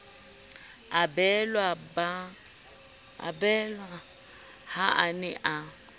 abelwa ha a ne a